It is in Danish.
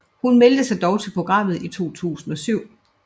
Hun meldte sig dog til programmet i 2007